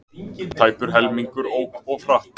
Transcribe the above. Tæpur helmingur ók of hratt